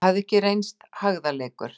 Það hafði ekki reynst hægðarleikur.